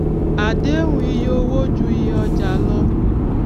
àdéhùn iye owó ju iyé ọjà lọ